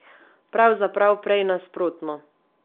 Pravzaprav prej nasprotno.